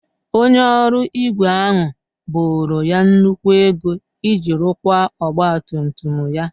Onye ọrụ ígwè ahụ boro ya nnukwu ego iji rụkwaa ọgba tum tum ya.